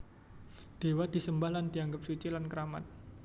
Dewa disembah lan dianggep suci lan keramat